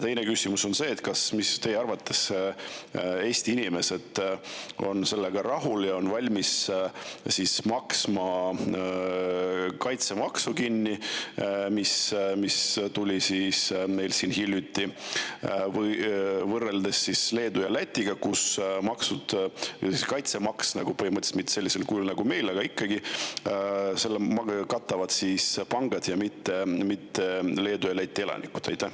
Teine küsimus on see, et kas teie arvates Eesti inimesed on rahul ja on valmis maksma kinni kaitsemaksu, mis meil siin hiljuti tuli, eriti kui võrrelda Leedu ja Lätiga, kus põhimõtteliselt kaitsemaksu, mitte küll sellisel kujul, nagu meil, aga ikkagi, katavad pangad, mitte Leedu ja Läti elanikud.